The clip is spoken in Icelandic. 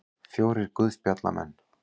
Fjórir guðspjallamenn.